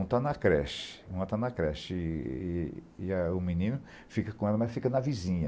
Uma está na creche, uma está na creche, e e e a o menino fica com ela, mas fica na vizinha.